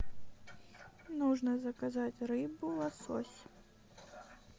нужно заказать рыбу лосось